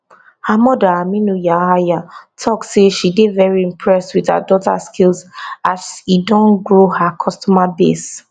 her mother aminu yahaya tok say she dey very impressed wit her daughter skills as e don grow her customer base